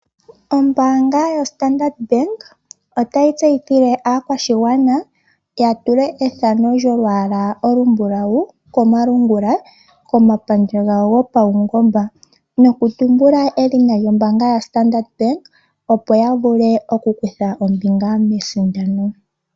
Ombaanga yo Standard otayi tseyithile aakwashigwana ya tule ethano lyolwaala olumbulawu komalungula komapandja gawo gopawungomba no kutumbula edhina lyombaanga yo Standard opo yavule okukutha ombinga mesindano